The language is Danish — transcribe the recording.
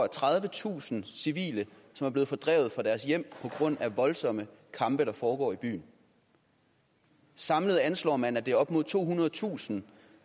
tredivetusind civile blevet fordrevet fra deres hjem på grund af de voldsomme kampe der foregår i byen samlet anslår man at det er op mod tohundredetusind